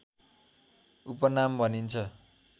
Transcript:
उपनाम भनिन्छ